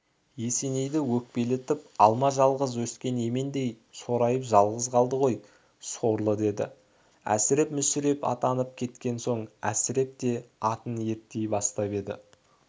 есенейді өкпелетіп алма жалғыз өскен емендей сорайып жалғыз қалды ғой сорлы деді әсіреп мүсіреп аттанып кеткен соң әсіреп те атын ерттей бастап еді